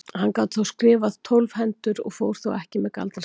Hann gat skrifað tólf hendur og fór þó ekki með galdrastafi.